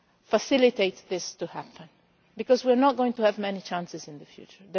to facilitate this to happen because we are not going to have many chances in the future.